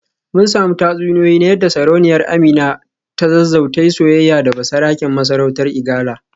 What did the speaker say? Mun samu tatsuniyoyi na yadda Sarauniyar Amina ta Zazzau ta yi soyayya da basaraken masarautar Igala